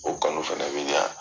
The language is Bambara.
O kanu fana bɛ ɲa.